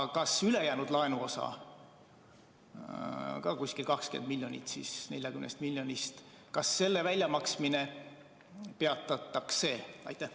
Ja kas ülejäänud laenuosa, ka umbes 20 miljonit 40 miljonist, jääb välja maksmata?